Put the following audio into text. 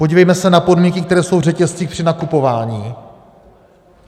Podívejme se na podmínky, které jsou v řetězcích při nakupování.